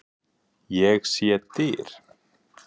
Ég sé dyr.